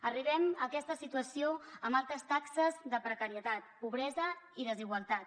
arribem a aquesta situació amb altes taxes de precarietat pobresa i desigualtat